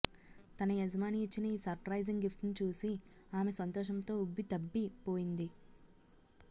తన యజమాని ఇచ్చిన ఈ సర్ప్రైజింగ్ గిఫ్ట్ను చూసి ఆమె సంతోషంతో ఉబ్బితబ్బి అయిపోయింది